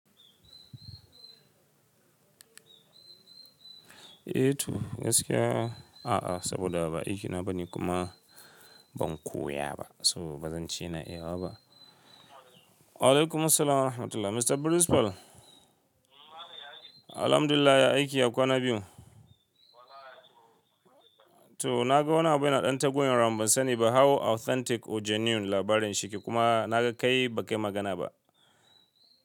Eh to gaskiya a'a saboda ba aikina ba ne kuma ban koya ba so bazan ci na yi haka ba. Alaikumussalam wa rahmatullah Mr. Principal. Alhamdulillah ya aiki ya kwana biyu. To na ga wani abu yana ɗan taguwaro amma ban sani ba how authentic or genuine labarin shi yake kuma na ga kai ba kai magana ba.